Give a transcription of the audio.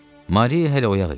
Mari hələ oyaq idi.